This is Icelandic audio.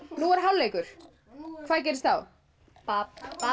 nú er hálfleikur hvað gerist þá babb